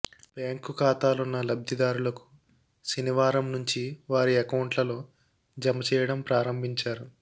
bank ఖాతాలున్న లబ్ధిదారులకు శనివారం నుంచి వారి అకౌంట్లలో జమ చేయడం ప్రారంభించారు